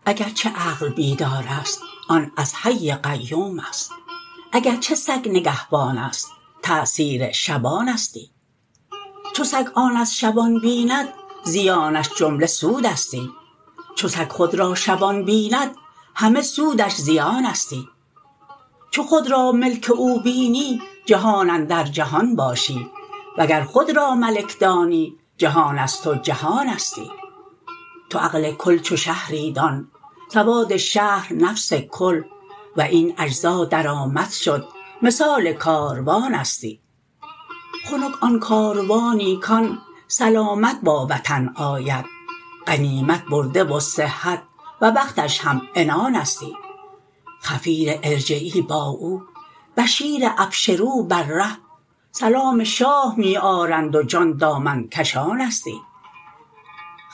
غلام پاسبانانم که یارم پاسبانستی به چستی و به شبخیزی چو ماه و اخترانستی غلام باغبانانم که یارم باغبانستی به تری و به رعنایی چو شاخ ارغوانستی نباشد عاشقی عیبی وگر عیب است تا باشد که نفسم عیب دان آمد و یارم غیب دانستی اگر عیب همه عالم تو را باشد چو عشق آمد بسوزد جمله عیبت را که او بس قهرمانستی گذشتم بر گذرگاهی بدیدم پاسبانی را نشسته بر سر بامی که برتر ز آسمانستی کلاه پاسبانانه قبای پاسبانانه ولیک از های های او دو عالم در امانستی به دست دیدبان او یکی آیینه ای شش سو که حال شش جهت یک یک در آیینه بیانستی چو من دزدی بدم رهبر طمع کردم بدان گوهر برآوردم یکی شکلی که بیرون از گمانستی ز هر سویی که گردیدم نشانه تیر او دیدم ز هر شش سو برون رفتم که آن ره بی نشانستی همه سوها ز بی سو شد نشان از بی نشان آمد چو آمد راه واگشتن ز آینده نهانستی چو زان شش پرده تاری برون رفتم به عیاری ز نور پاسبان دیدم که او شاه جهانستی چو باغ حسن شه دیدم حقیقت شد بدانستم که هم شه باغبانستی و هم شه باغ جانستی از او گر سنگسار آیی تو شیشه عشق را مشکن ازیرا رونق نقدت ز سنگ امتحانستی ز شاهان پاسبانی خود ظریف و طرفه می آید چنان خود را خلق کرده که نشناسی که آنستی لباس جسم پوشیده که کمتر کسوه آن است سخن در حرف آورده که آن دونتر زبانستی به گل اندوده خورشیدی میان خاک ناهیدی درون دلق جمشیدی که گنج خاکدانستی زبان وحییان را او ز ازل وجه العرب بوده زبان هندوی گوید که خود از هندوانستی زمین و آسمان پیشش دو که برگ است پنداری که در جسم از زمینستی و در عمر از زمانستی ز یک خندش مصور شد بهشت ار هشت ور بیش است به چشم ابلهان گویی ز جنت ارمغانستی بر او صفرا کنند آنگه ز نخوت اصل سیم و زر که ما زر و هنر داریم و غافل زو که کانستی چه عذر آرند آن روزی که عذرا گردد از پرده چه خون گریند آن صبحی که خورشیدش عیانستی میان بلغم و صفرا و خون و مره و سودا نماید روح از تأثیر گویی در میانستی ز تن تا جان بسی راه است و در تن می نماند جان چنین دان جان عالم را کز او عالم جوانستی نه شخص عالم کبری چنین بر کار بی جان است که چرخ ار بی روانستی بدین سان کی روانستی زمین و آسمان ها را مدد از عالم عقل است که عقل اقلیم نورانی و پاک درفشانستی جهان عقل روشن را مددها از صفات آید صفات ذات خلاقی که شاه کن فکانستی که این تیر عوارض را که می پرد به هر سویی کمان پنهان کند صانع ولی تیر از کمانستی اگر چه عقل بیدار است آن از حی قیوم است اگر چه سگ نگهبان است تأثیر شبانستی چو سگ آن از شبان بیند زیانش جمله سودستی چو سگ خود را شبان بیند همه سودش زیانستی چو خود را ملک او بینی جهان اندر جهان باشی وگر خود را ملک دانی جهان از تو جهانستی تو عقل کل چو شهری دان سواد شهر نفس کل و این اجزا در آمدشد مثال کاروانستی خنک آن کاروانی کان سلامت با وطن آید غنیمت برده و صحت و بختش همعنانستی خفیر ارجعی با او بشیر ابشروا بر ره سلام شاه می آرند و جان دامن کشانستی